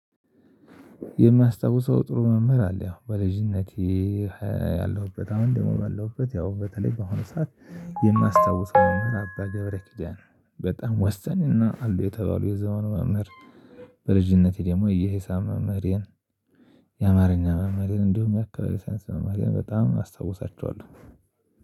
የማስታውሰው ጥሩ መምህር አለ። ያው በልጅነቴ ያለሁበት አሁን ደግሞ ባለሁበት ያው በተለይ ባሁኑ ሰዓት የማስታውሰው መምህር አባ ገብረ ኪዳን በጣም ወሳኝና አሉ የተባሉ የዘመኑ መምህር በልጅነቴ ደግሞ የሂሳብ መምህሬን የአማርኛ መምህሬን እንደውም የአካባቢ ሳይንስ መምህሬን በጣም አስታውሳቸዋለሁ